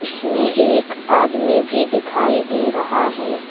इसमे एक आदमी भी दिखाई दे रहा है।